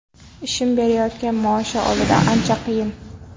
Ishim berayotgan maoshi oldida ancha qiyin.